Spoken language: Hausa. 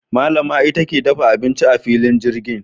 Malama ita ke dafa abinci a filin jirgin.